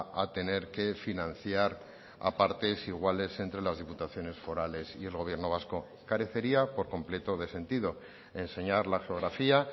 a tener que financiar a partes iguales entre las diputaciones forales y el gobierno vasco carecería por completo de sentido enseñar la geografía